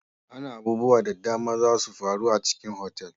Ana abubuwa da dama zasu faru a cikin otal.